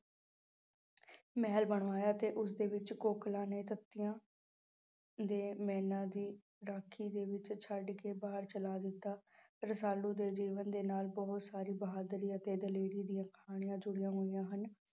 ਮਹਿਲ ਬਣਵਾਇਆ ਤੇ ਉਸਦੇ ਵਿੱਚ ਕੋਕਿਲਾ ਨੇ ਦੇ ਮੈਨਾ ਦੀ ਰਾਖੀ ਦੇ ਵਿੱਚ ਛੱਡ ਕੇ ਬਾਹਰ ਚਲਾ ਦਿੱਤਾ, ਰਸਾਲੂ ਦੇ ਜੀਵਨ ਦੇ ਨਾਲ ਬਹੁਤ ਸਾਰੀ ਬਹਾਦਰੀ ਅਤੇ ਦਲੇਰੀ ਦੀਆਂ ਕਹਾਣੀਆਂ ਜੁੜੀਆਂ ਹੋਈਆਂ ਹਨ।